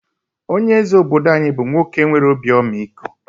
Onye eze obodo anyi bú nwoke nwere obi ọmịiko